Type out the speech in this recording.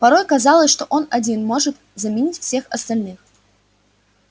порой казалось что он один может заменить всех остальных